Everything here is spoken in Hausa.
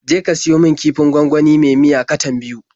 Je ka siyo min kifin gwangwani me miya katan biyu.